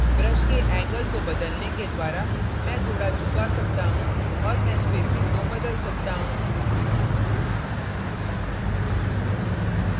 brush के angle angle को बदलने के द्वारा मैं थोड़ा झुका सकता हूँ और मैं spacing को बदल सकता हूँ